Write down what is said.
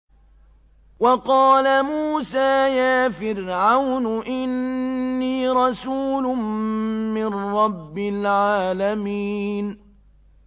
وَقَالَ مُوسَىٰ يَا فِرْعَوْنُ إِنِّي رَسُولٌ مِّن رَّبِّ الْعَالَمِينَ